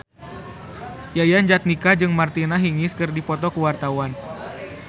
Yayan Jatnika jeung Martina Hingis keur dipoto ku wartawan